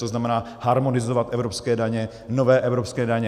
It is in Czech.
To znamená harmonizovat evropské daně, nové evropské daně.